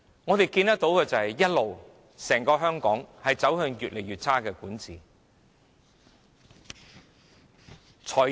我們看到的是香港一直走向越來越差的管治。